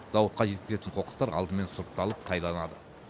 зауытқа жеткізілген қоқыстар алдымен сұрыпталып тайланады